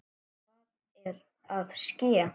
Hvað er að ske?